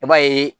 I b'a ye